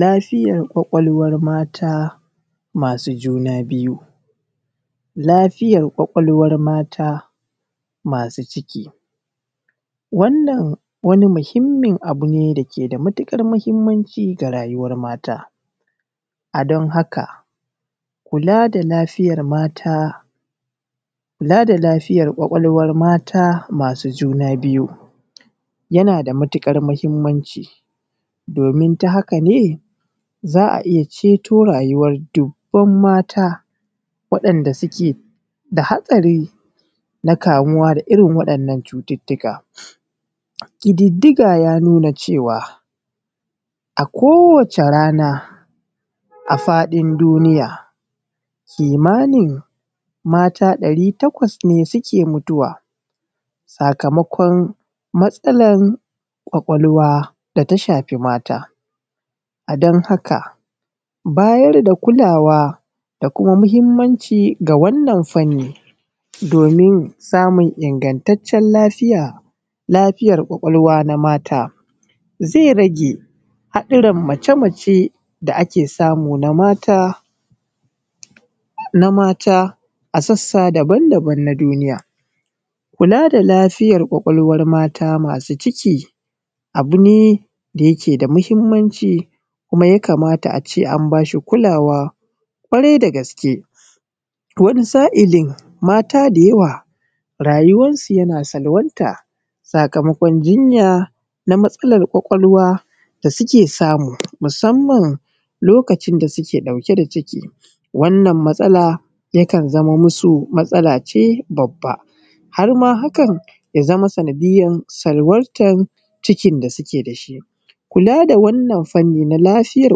Lafiyar ƙwaƙwalwar mata masu juna biyu. Lafiyar ƙwaƙwalwar mata masu ciki wannan wani muhimmin abu ne dake da matuƙar muhimmanci ga rayuwar mata, a don haka kula da lafiyar ƙwaƙwalwar mata masu juna biyu yana da matuƙar muhimmanci domin ta haka ne za a iya ceto rayuwar duban mata waɗanda suke da hastari na kamuwa da irin waɗannan cututuka. Ƙididdiga ya nuna cewa a kowace rana a faɗin duniya kimanin mata ɗari takwas (800) ne suke mutuwa sakamokon matsalan ƙwaƙwalwa da ta shafi mata. A don haka bayar da kulawa da muhimmanci ga wannan fanni domin samun ingataccen lafiyar ƙwaƙwalwa na mata zai rage haɗarin mace mace da ake samu na mata a sasssa daban daban na duniya. Kula da lafiyar ƙwaƙwalwan mata masu ciki abu ne da yake da muhimmanci kuma ya kamata a ce an ba shi kulawan ƙwarai da gaske. Wani sa’ilin mata da yawa rayuwansu yana salwanta sakamakon jinya na matsalar ƙwaƙwalwa da suke samu musamman lokacin da suke ɗauke da ciki wannan matsala yakan zamo masu matsala ce babba. Har ma hakan ya zama sanadiyar salwantar cikin da suke da shi. Kula da wannan fanni na lafiyar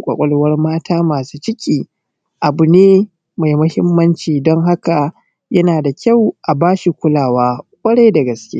ƙwaƙwalwar mata masu ciki abu ne mai muhimmanci don haka yana da kyau a bashi kulawan ƙwarai da gaske.